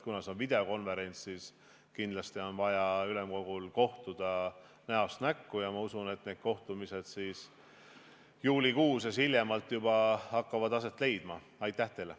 Kuna see on videokonverents, siis ma arvan, et kindlasti on vaja ülemkogul kohtuda ka näost näkku, ja ma usun, et need kohtumised hakkavad aset leidma hiljemalt juulikuus.